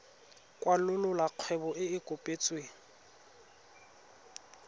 kwalolola kgwebo e e kopetsweng